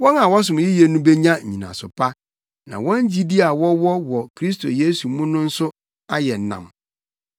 Wɔn a wɔsom yiye no benya nnyinaso pa, na wɔn gyidi a wɔwɔ wɔ Kristo Yesu mu no nso ayɛ nam.